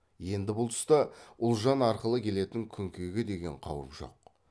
енді бұл тұста ұлжан арқылы келетін күнкеге деген қауып жоқ